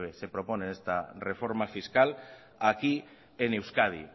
se propone en esta reforma fiscal aquí en euskadi